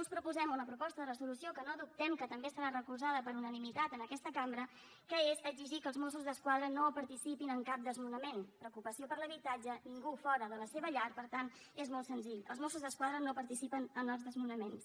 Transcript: us proposem una proposta de resolució que no dubtem que també serà recolzada per unanimitat en aquesta cambra que és exigir que els mossos d’esquadra no participin en cap desnonament preocupació per l’habitatge ningú fora de la seva llar per tant és molt senzill els mossos d’esquadra no participen en els desnonaments